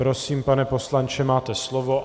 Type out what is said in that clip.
Prosím, pane poslanče, máte slovo.